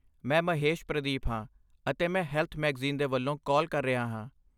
ਮੈਂ ਮਹੇਸ਼ ਪ੍ਰਦੀਪ ਹਾਂ, ਅਤੇ ਮੈਂ ਹੈਲਥ ਮੈਗਜ਼ੀਨ ਦੇ ਵੱਲੋਂ ਕਾਲ ਕਰ ਰਿਹਾ ਹਾਂ।